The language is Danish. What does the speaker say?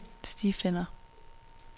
stifinder